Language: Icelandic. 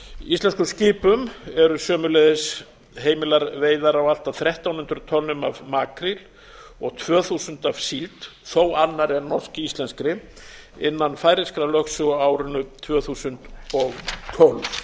íslenskum skipum eru sömuleiðis heimilar veiðar á allt að þrettán hundruð tonnum af makríl og tvö þúsund af síld þó annarri en norsk íslenskri innan færeyskrar lögsögu á árinu tvö þúsund og tólf ég